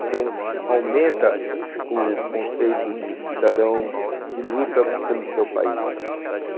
Então, aumenta o conceito de cidadão que luta pelo seu país.